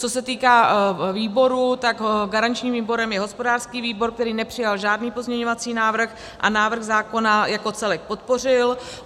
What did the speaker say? Co se týká výboru, tak garančním výborem je hospodářský výbor, který nepřijal žádný pozměňovací návrh a návrh zákona jako celek podpořil.